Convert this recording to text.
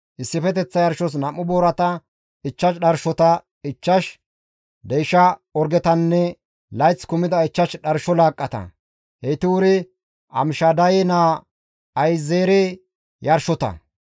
issifeteththa yarshos 2 boorata, 5 dharshota, 5 deysha orgetanne layth kumida 5 dharsho laaqqata; heyti wuri Amishadaye naa Ahi7ezeere yarshota.